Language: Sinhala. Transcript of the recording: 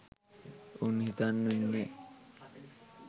උන් හිතන් ඉන්නෙ